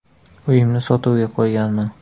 Uyimni sotuvga qo‘yganman.